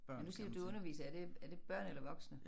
Nu siger du du underviser er det er det børn eller voksne?